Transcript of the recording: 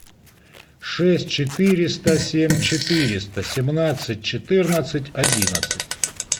шесть четыреста семь четыреста семнадцать четырнадцать одиннадцать